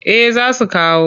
Eh za su kawo.